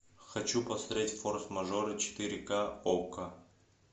хочу посмотреть форс мажоры четыре ка окко